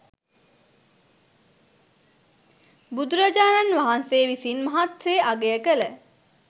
බුදුරජාණන් වහන්සේ විසින් මහත්සේ අගය කළ